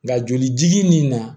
Nka jolijigin nin na